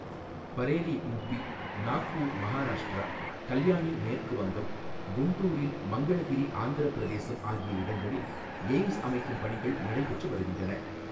Bareilly U P, Nagpur Maharashtra, Kalyani மேற்கு வங்கம், குண்டூரில் மங்களகிரி ஆந்திரபிரதேசம் ஆகிய இடங்களில் எய்ம்ஸ்அமைக்கும் பணிகள் நடைபெற்று வருகின்றன.